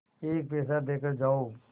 एक पैसा देकर जाओ